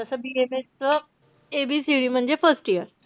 तस BAMS च ABCD म्हणजे first year.